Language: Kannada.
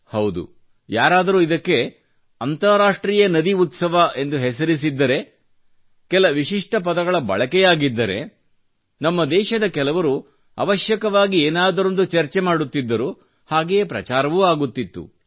ಹೌದು ಯಾರಾದರೂ ಇದಕ್ಕೆ ಅಂತರರಾಷ್ಟ್ರೀಯ ನದಿ ಉತ್ಸವ ಎಂದು ಹೆಸರಿಸಿದ್ದರೆ ಕೆಲ ವಿಶಿಷ್ಟ ಪದಗಳ ಬಳಕೆಯಾಗಿದ್ದರೆ ನಮ್ಮ ದೇಶದ ಕೆಲವರು ಅವಶ್ಯವಾಗಿ ಏನಾದರೊಂದು ಚರ್ಚೆಯಾಗುತ್ತಿತ್ತು ಮತ್ತು ಹಾಗೆಯೇ ಪ್ರಚಾರವೂ ಆಗುತ್ತಿತ್ತು